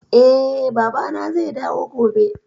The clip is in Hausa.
Eh, Baba na zai dawo gobe